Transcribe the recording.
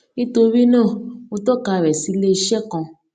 nítorí náà mo tọka rẹ sí ilé iṣé kan